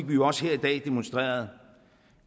vi jo også her i dag demonstreret